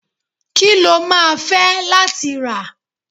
ki lo ma fe latí ra?